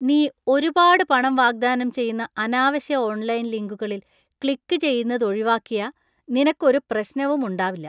നീ ഒരുപാട് പണം വാഗ്ദാനം ചെയ്യുന്ന അനാവശ്യ ഓൺലൈൻ ലിങ്കുകളിൽ ക്ലിക്കുചെയ്യുന്നത് ഒഴിവാക്കിയാ നിനക്കു ഒരു പ്രശ്നവും ഉണ്ടാവില്ല.